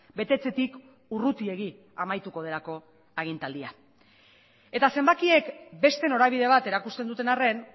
betetzetik urrutiegi amaituko delako agintaldia eta zenbakiek beste norabide bat erakusten duten arren